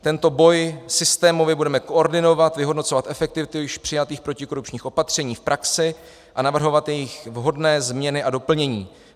Tento boj systémově budeme koordinovat, vyhodnocovat efektivitu již přijatých protikorupčních opatření v praxi a navrhovat jejich vhodné změny a doplnění.